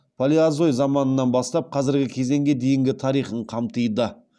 палеозой заманынан бастап казіргі кезеңге дейінгі тарихын қамтиды